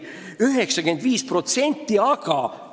95%!